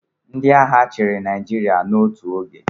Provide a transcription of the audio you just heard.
Ndị agha chịrị Naịjirịa n'otu oge.